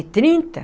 Trinta